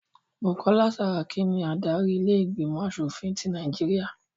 Bukola Saraki ni adarí ilé ìgbìmọ̀ aṣòfin tí Nàìjíríà